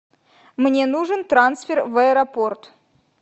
мне нужен трансфер в аэропорт